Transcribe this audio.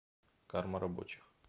карма рабочих